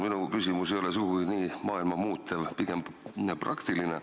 Minu küsimus ei ole sugugi maailma muutev, pigem praktiline.